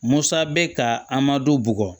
Musa bɛ ka an ma don bugɔ